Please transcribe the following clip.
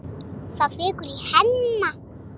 Það fýkur í Hemma.